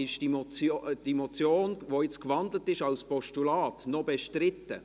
Ist diese Motion, die jetzt in ein Postulat gewandelt ist, noch bestritten?